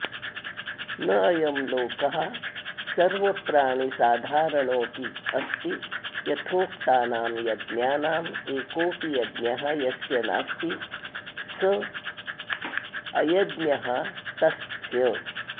न अयं लोकः सर्वप्राणिसाधारणोऽपि अस्ति यथोक्तानां यज्ञानां एकोऽपि यज्ञः यस्य नास्ति सः अयज्ञः तस्य